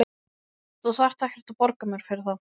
Þú þarft ekkert að borga mér fyrir það.